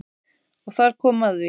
Og þar kom að því.